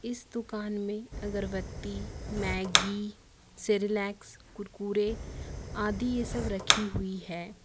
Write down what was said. इस दुकान में अगरबत्ती मैगी सेरेलेक्स कुरकुरे आदि ये सब रखी हुई है।